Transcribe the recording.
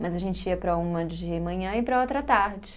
Mas a gente ia para uma de manhã e para outra à tarde.